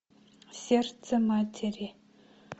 сердце матери